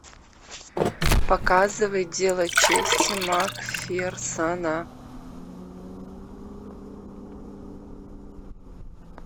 показывай дело чести макферсона